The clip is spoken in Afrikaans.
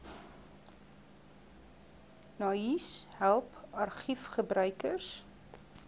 naais help argiefgebruikers